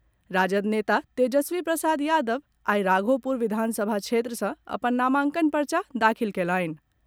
राजद नेता तेजस्वी प्रसाद यादव आई राघोपुर विधानसभा क्षेत्र सँ अपन नामांकन पर्चा दाखिल कयलनि।